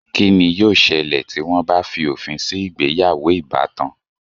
Kí ni yóò sẹlẹ̀ tí wọ́n bá fi òfin sí ìgbéyàwó ìbátan?